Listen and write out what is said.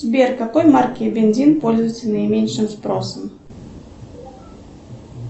сбер какой марки бензин пользуется наименьшим спросом